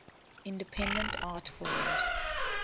independent art films